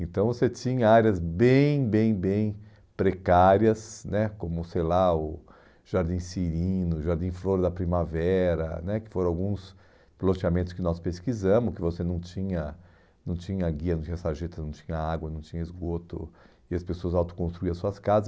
Então, você tinha áreas bem, bem, bem precárias né, como, sei lá, o Jardim Cirino, Jardim Flor da Primavera né, que foram alguns loteamentos que nós pesquisamos, que você não tinha não tinha guia, não tinha sarjeta, não tinha água, não tinha esgoto, e as pessoas autoconstruíram as suas casas.